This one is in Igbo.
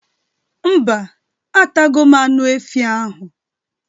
Mba, atago m anụ efi ahụ